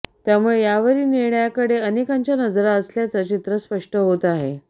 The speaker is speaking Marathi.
त्यामुळे यावरील निर्णयाकडे अनेकांच्या नजरा असल्याचं चित्र स्पष्ट होत आहे